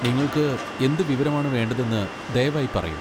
നിങ്ങൾക്ക് എന്ത് വിവരമാണ് വേണ്ടതെന്ന് ദയവായി പറയൂ.